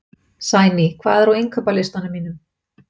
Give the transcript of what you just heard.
Sæný, hvað er á innkaupalistanum mínum?